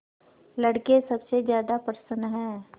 लड़के सबसे ज्यादा प्रसन्न हैं